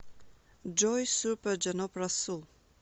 джой супер джаноб расул